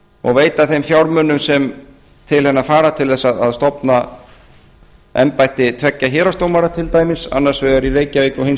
og veita þeim fjármunum sem til hennar fara til þess að stofna embætti tveggja héraðsdómara til dæmis annars gat í reykjavík og hins